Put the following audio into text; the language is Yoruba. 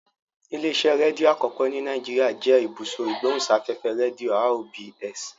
Ilé-iṣẹ́ rédíò àkọ́kọ́ ní Nàìjíríà jẹ́ Ibùsọ̀ Ìgbóhùsáfẹ́fẹ́ Rédíò (RBS).